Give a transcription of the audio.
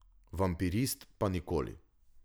Vampirist pa nikoli.